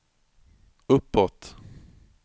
uppåt